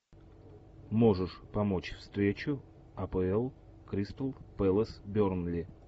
можешь помочь встречу апл кристал пэлас бернли